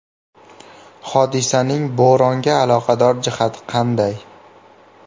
Hodisaning bo‘ronga aloqador jihati qanday?